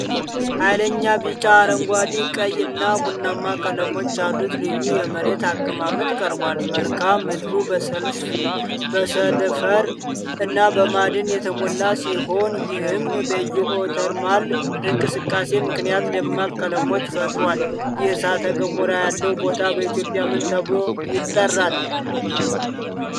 ኃይለኛ ቢጫ፣ አረንጓዴ፣ ቀይ እና ቡናማ ቀለሞች ያሉት ልዩ የመሬት አቀማመጥ ቀርቧል። መልክዓ ምድሩ በሰልፈር እና በማዕድን የተሞላ ሲሆን ይህም በጂኦተርማል እንቅስቃሴ ምክንያት ደማቅ ቀለሞችን ፈጥሯል። ይህ እሳተ ጎመራ ያለው ቦታ በኢትዮጵያ ምን ተብሎ ይጠራል?